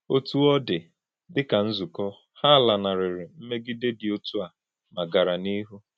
Otú ọ dị, dị ka nzukọ, ha lanarịrị mmegide dị otu a ma gara n’ihu.